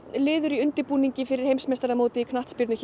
liður í undirbúningi fyrir heimsmeistaramótið í knattspyrnu hér